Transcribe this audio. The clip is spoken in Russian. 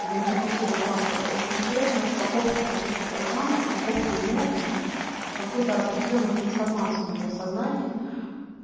я интерпретирую как очень интересную распаковку каких-то программ распаковку энергии и какую-то определённую трансформацию моего сознания